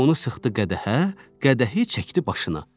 Limonu sıxdı qədəhə, qədəhi çəkdi başına.